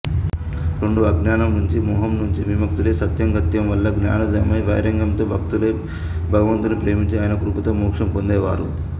రెండు అజ్ఞానంనుంచి మోహంనుంచి విముక్తులై సత్సాంగత్యంవల్ల జ్ఞానోదయమై వైరాగ్యంతో భక్తులై భగవంతుని ప్రేమించి ఆయన కృపతో మోక్షం పొందేవారు